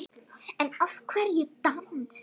En af hverju dans?